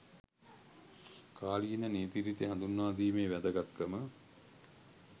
කාලීන නීතිරීති හඳුන්වා දීමේ වැදගත්කම